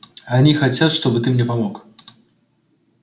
они хотят чтобы ты мне помог